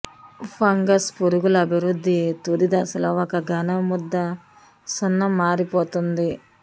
fungus పురుగులు అభివృద్ధి తుది దశలో ఒక ఘన ముద్ద సున్నం మారిపోతుంది